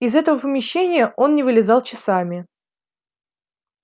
из этого помещения он не вылезал часами